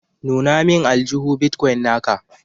nuna min Aljuhu. " Bitcoin" na ka.